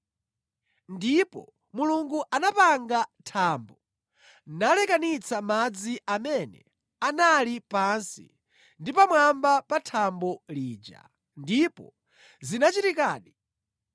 Ndipo Mulungu anapanga thambo nalekanitsa madzi amene anali pansi ndi pamwamba pa thambo lija, ndipo zinachitikadi.